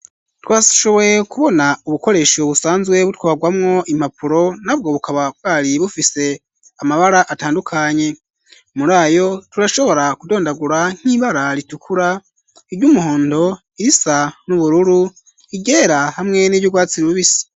Twashoboye kubona ubukoresho busanzwe butwagwamwo impapuro nabwo bukaba bwari bufise amabara atandukanye muri ayo turashobora kudondagura nk'ibara ritukura iryumuhondo irisa n'ubururu iryera hamwe n'iryu rwatsi rubisi.